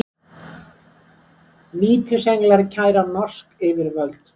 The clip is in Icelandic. Vítisenglar kæra norsk yfirvöld